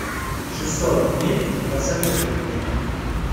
шестьсот миль посоветуй мне